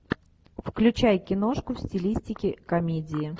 включай киношку в стилистике комедии